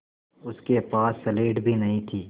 उसके पास स्लेट भी नहीं थी